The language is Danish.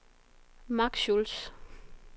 Mark Schulz